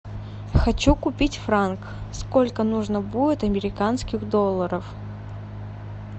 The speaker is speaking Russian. хочу купить франк сколько нужно будет американских долларов